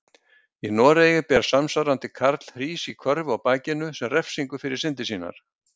Í Noregi ber samsvarandi karl hrís í körfu á bakinu sem refsingu fyrir syndir sínar.